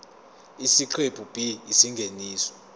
isiqephu b isingeniso